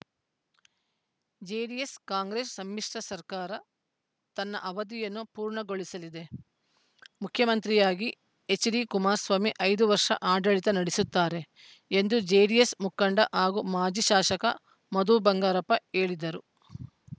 JDS Congress ಸಮ್ಮಿಶ್ರ ಸರ್ಕಾರ ತನ್ನ ಅವಧಿಯನ್ನು ಪೂರ್ಣಗೊಳಿಸಲಿದೆ ಮುಖ್ಯಮಂತ್ರಿಯಾಗಿ ಎಚ್‌ಡಿಕುಮಾರಸ್ವಾಮಿ ಐದು ವರ್ಷ ಆಡಳಿತ ನಡೆಸುತ್ತಾರೆ ಎಂದು ಜೆಡಿಎಸ್‌ ಮುಖಂಡ ಹಾಗೂ ಮಾಜಿ ಶಾಸಕ ಮಧು ಬಂಗಾರಪ್ಪ ಹೇಳಿದರು